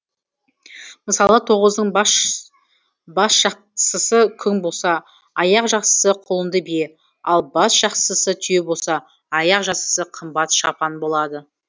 мысалы тоғыздың басжақсысы күң болса аяқжақсысы құлынды бие ал басжақсысы түйе болса аяқжақсысы қымбат шапан болады